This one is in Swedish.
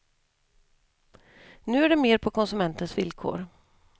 Nu är det mer på konsumentens villkor.